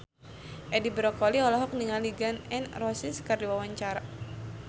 Edi Brokoli olohok ningali Gun N Roses keur diwawancara